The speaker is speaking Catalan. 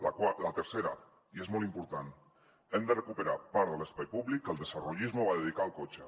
la tercera i és molt important hem de recuperar part de l’espai públic que el desarrollismo va dedicar al cotxe